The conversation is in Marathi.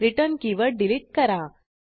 रिटर्न कीवर्ड डिलीट करा